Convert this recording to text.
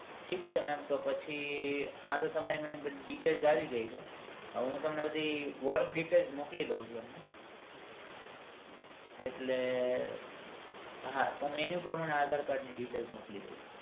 ઠીક છે mem તો પછી આ તમારી બધી details આવી ગઈ છે હવે હું તમને બધી work details મોકલી દઉં છુ એટલે તમે એ પ્રમાણે aadhar card ની details મોકલી દો